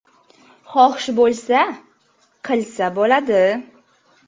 Xohish bo‘lsa, qilsa bo‘ladi.